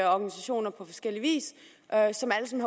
organisationer på forskellig vis